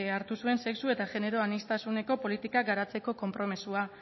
hartu zuen sexu eta genero aniztasuneko politikak garatzeko konpromisoa